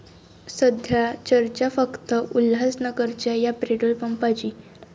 सध्या चर्चा फक्त उल्हासनगरच्या 'या' पेट्रोल पंपाची!